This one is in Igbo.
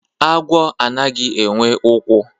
agwọ anaghị enwe ụkwụ